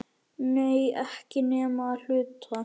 Nei, ekki nema að hluta.